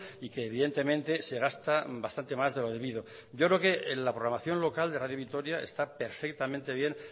y que evidentemente se gasta bastante más de lo debido yo creo que la programación local de radio vitoria está perfectamente bien